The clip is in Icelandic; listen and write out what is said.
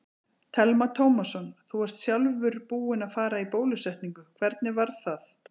Telma Tómasson: Þú ert sjálfur búinn að fara í bólusetningu, hvernig var það?